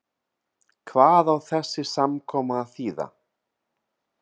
Hvað á þessi samkoma að þýða.